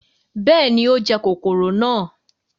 bẹẹni, o jẹ kọkọrọ náà